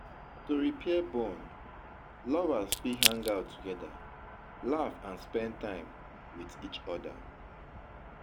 to repair bond, lovers fit hang out together, laugh and spend time with each oda